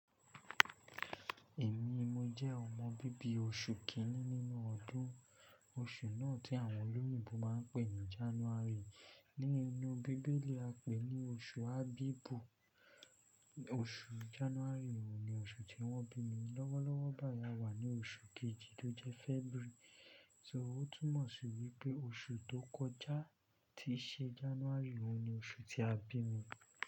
Èmi, mo jẹ́ ọmọ bíbí oṣù kínní nínú ọdún. Oṣù náà tí àwọn olóyìnbo máa ń pè ní January. Nínú bíbélì a pè ní oṣù Abibu. Oṣù January òun ni oṣù tí wọ́n bí mi. Lọ́wọ́lọ́wọ́ báyìí a wà ní oṣù kejì tó jẹ́ February. So ó túmọ̀ sí wípé oṣù tó kọjá tí ṣe January òun ni oṣù tí a bí mi.